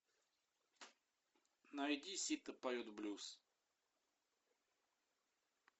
найди сита поет блюз